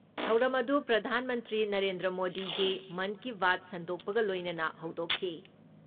ꯊꯧꯔꯝ ꯑꯗꯨ ꯄ꯭ꯔꯙꯥꯟ ꯃꯟꯇ꯭ꯔꯤ ꯅꯔꯦꯟꯗ꯭ꯔ ꯃꯣꯗꯤꯒꯤ ꯃꯟ ꯀꯤ ꯕꯥꯠ ꯁꯟꯗꯣꯛꯄꯒ ꯂꯣꯏꯅꯅ ꯍꯧꯗꯣꯛꯈꯤ ꯫